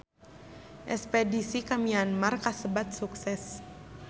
Espedisi ka Myanmar kasebat sukses